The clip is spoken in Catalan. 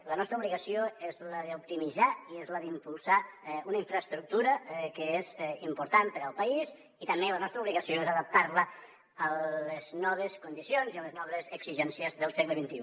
la nostra obligació és la d’optimitzar i és la d’impulsar una infraestructura que és important per al país i també la nostra obligació és adaptar la a les noves condicions i a les noves exigències del segle xxi